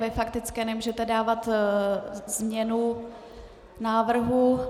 Ve faktické nemůžete dávat změnu návrhu.